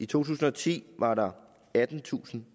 tusind og ti var der attentusinde